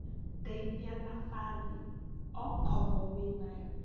Ndeithia na bathi okorwo wĩnayo